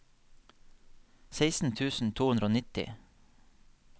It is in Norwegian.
seksten tusen to hundre og nitti